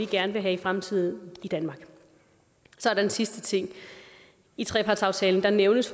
gerne vil have i fremtiden i danmark så er der en sidste ting i trepartsaftalen nævnes